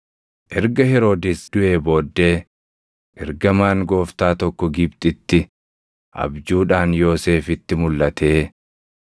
Erga Heroodis duʼee booddee, ergamaan Gooftaa tokko Gibxitti abjuudhaan Yoosefitti mulʼatee,